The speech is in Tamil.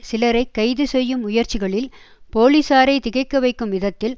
சிலரை கைதுசெய்யும் முயற்சிகளில் போலீசாரை திகைக்க வைக்கும் விதத்தில்